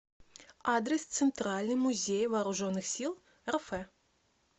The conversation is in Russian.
адрес центральный музей вооруженных сил рф